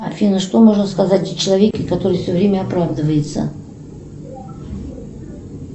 афина что можно сказать о человеке который все время оправдывается